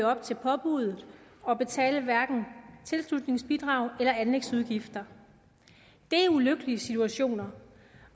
op til påbuddet og betale hverken tilslutningsbidrag eller anlægsudgifter det er ulykkelige situationer